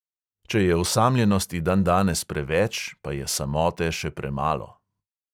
Če je osamljenosti dandanes preveč, pa je samote še premalo.